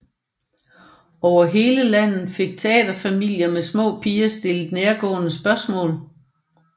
Over hele landet fik taterfamilier med små piger stillet nærgående spørgsmål